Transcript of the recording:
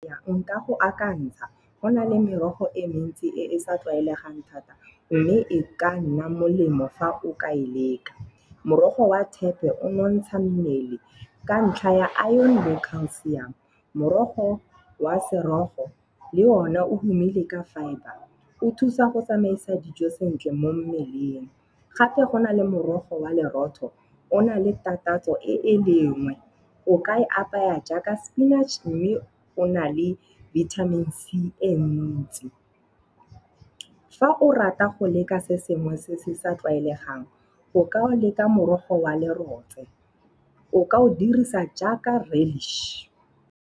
Nka go akantsha. Go na le merogo e mentsi e e sa tlwaelegang thata mme e ka nna molemo fa o ka e leka. Morogo wa thepe o nontsha mmele ka ntlha ya iron le calcium. Morogo wa serofo, le ona o tumile ka fibre. O thusa go tsamaisa dijo sentle mo mmeleng. Gape go nale morogo wa lerotho o na le takatso e le nngwe. O ka e apaya jaaka spinach mme o na le vitamins C e ntsi. Fa o rata go leka se sengwe se se sa tlwaelegang o ka o leka morogo wa le rotse. O ka o dirisa jaaka reddish.